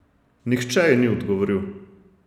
Nihče ji ni odgovoril.